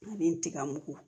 Ani n tiga mugu